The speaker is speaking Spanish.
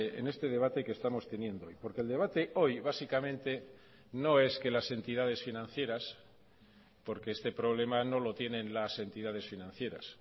en este debate que estamos teniendo hoy porque el debate hoy básicamente no es que las entidades financieras porque este problema no lo tienen las entidades financieras